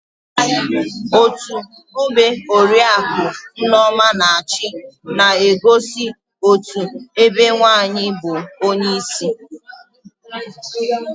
Otú ọgbe oriaku Nneoma na-achi na-egosi otú ebe nwaanyị bụ onyeisi